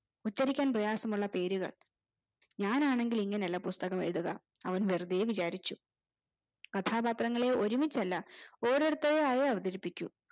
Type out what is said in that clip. ഉച്ചരിക്കാൻ പ്രയാസമുള്ള പേരുകൾ ഞാൻ ആണെങ്കിൽ ഇങ്ങനെ അല്ല പുസ്തകം എഴ്തുക അവൻ വെറുതെ വിചാരിച്ചു കഥാപാത്രങ്ങളെ ഒരിമിച്ചല്ല ഓരോരുത്തരും ആയെ അവതരിപ്പിക്കു